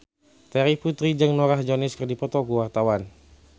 Terry Putri jeung Norah Jones keur dipoto ku wartawan